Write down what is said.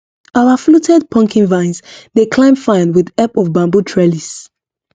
our fluted pumpkin vines dey climb fine with help of bamboo trellis